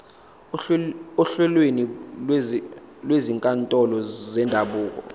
ohlelweni lwezinkantolo zendabuko